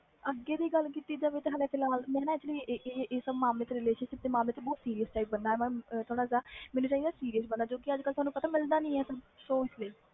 ਅੱਗੇ ਦੀ ਗੱਲ ਕੀਤੀ ਜਾਵੇ ਤਾ ਮੈਂ reletionship ਦੇ ਮਾਮਲੇ ਵਿਚ ਬਹੁਤ serious ਆ ਮੈਨੂੰ ਚਾਹੀਦਾ serious ਬੰਦਾ ਜੋ ਕਿ ਅਜੇ ਕਲ ਮਿਲਦਾ ਨਹੀਂ